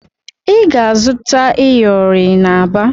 Ị ga-azụta iyori n'Aba